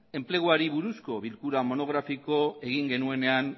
enpleguari buruzko bilkura monografikoa egin genuenean